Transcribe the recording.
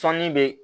Sɔɔnin be